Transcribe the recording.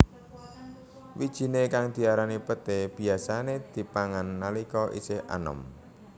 Wijiné kang diarani peté biyasané dipangan nalika isih anom